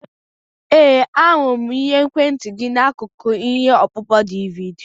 Ee, ahụrụ m ekwentị gị n'akụkụ ihe ọkpụkpọ DVD.